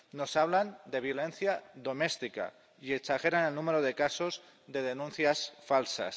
Nos hablan de violencia doméstica y exageran el número de casos de denuncias falsas.